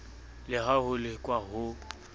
le ha ho lekwa ho